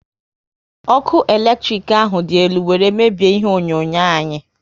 Ọkụ eletrik ahụ dị elu were mebie ihe onyonyo anyi